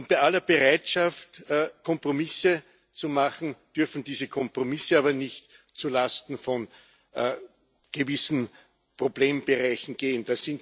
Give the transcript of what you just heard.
Bei aller Bereitschaft, Kompromisse zu machen, dürfen diese Kompromisse aber nicht zulasten von gewissen Problembereichen gehen.